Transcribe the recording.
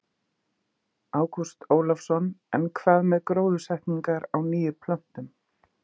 Ágúst Ólafsson: En hvað með gróðursetningar á nýjum plöntum?